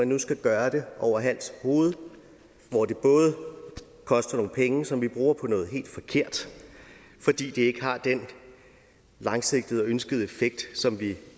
nu skal gøres over hals og hoved og det koster nogle penge penge som vi bruger på noget helt forkert fordi det ikke har den langsigtede og ønskede effekt som vi